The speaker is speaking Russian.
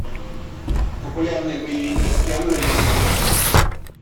популярные боевики с киану ривзом